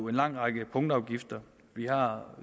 en lang række punktafgifter vi har